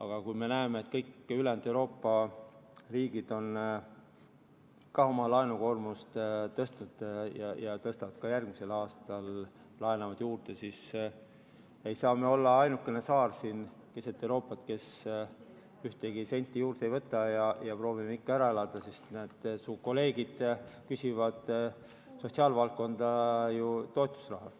Aga kui me näeme, et kõik ülejäänud Euroopa riigid on ka oma laenukoormust tõstnud ja tõstavad ka järgmisel aastal, laenavad juurde, siis ei saa me olla ainuke saar siin keset Euroopat, kes ühtegi senti juurde ei võta ja proovime ikka ära elada, sest näed, su kolleegid küsivad sotsiaalvaldkonda ju toetusraha.